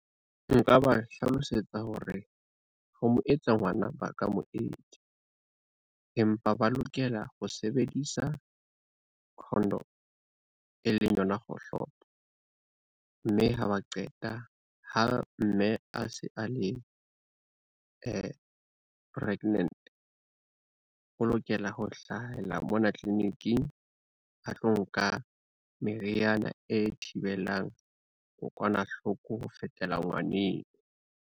Nka ba hlalosetsa hore ho mo etsa ngwana ba ka mo etsa, empa ba lokela ho sebedisa condom e leng yona kgohlopo, mme ha ba qeta ha mme a se a le pregnant, o lokela ho hlahela mona tleleniking a tlo nka meriana e thibelang kokwanahloko ho fetela ngwaneng.